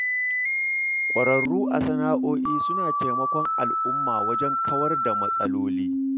Ƙwararru a sana'o'i suna taimakon al'umma wajen kawar da matsaloli.